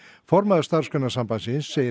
formaður Starfsgreinasambandsins segir